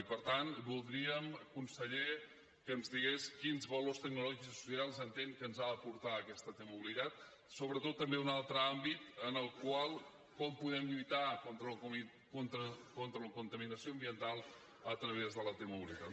i per tant voldríem conseller que ens digués quins valors tecnològics i socials entén que ens ha d’aportar aquesta t mobilitat sobretot també un altre àmbit en el qual com podem lluitar contra la contaminació ambiental a través de la t mobilitat